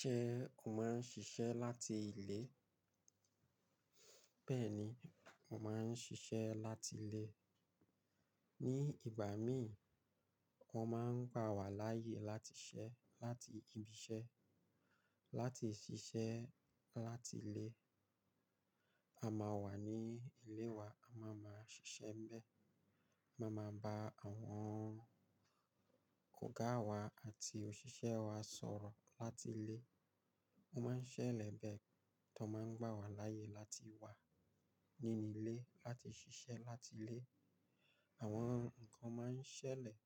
Ṣé o má ń ṣiṣẹ́ láti ilé? Bẹ́ẹ̀ni, mo ma ń ṣiṣẹ́ láti ilé. Ni ìgbà mi, wọ́n ma ń gbà wá láàyè láti ṣẹ́ láti ibi iṣẹ́. Láti ṣiṣẹ́ láti ilé, a máa wà ní ilé wa, a má maa ṣiṣẹ́ ń bẹ, a má máa ba àwọn ọ̀gá wa àti òṣìṣẹ́ wa sọ̀rọ̀ láti ilé. Ọ́ maa ń ṣẹlẹ̀ bẹ́ẹ̀ ti wón máa ń gbà wá láàyè láti wà nínú ilé láti ṣiṣẹ́ láti ilé. Àwọn ǹkan ma ń ṣẹlẹ̀